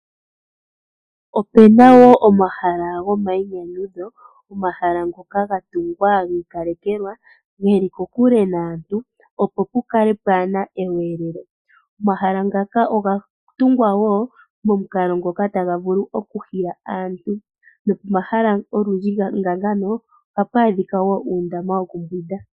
Opuna wo omahala gomainyanyudho, omahala ngoka ga tungwa gi ikalekelwa, geli kokule naantu, opo pu kale pwaana ekudhilo. Omahala ngaka oga tungwa wo momukalo ngoka taga vulu oku hila aantu nomahala olundji nga ngano, ohapu adhika uundama woku mbwinda.